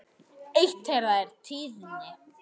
Eitt þeirra er tíðni.